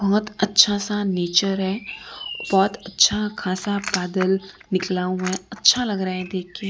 बहुत अच्छा सा नेचर है बहुत अच्छा खासा बादल निकला हुआ है अच्छा लग रहा है देख के।